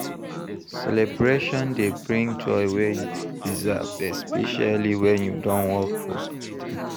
Celebration dey bring joy wey you deserve especially when you don work for something